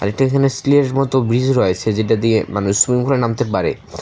এখানে স্টিলের মত ব্রিজ রয়েছে যেটা দিয়ে মানুষ সুইমিংপুলে করে নামতে পারে।